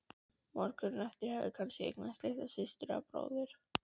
morgun hefur hann kannski eignast litla systur eða bróður.